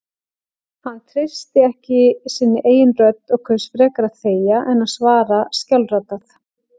Hann treysti ekki sinni eigin rödd og kaus frekar að þegja en að svara skjálfraddað.